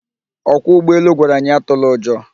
Ọkwọ ụgbọelu gwara anyị atụla ụjọ